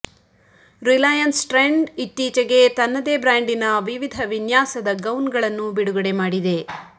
Reliance trend ಇತ್ತೀಚೆಗೆ ತನ್ನದೇ ಬ್ರಾಂಡಿನ ವಿವಿಧ ವಿನ್ಯಾಸದ ಗೌನ್ಗಳನ್ನು ಬಿಡುಗಡೆ ಮಾಡಿದೆ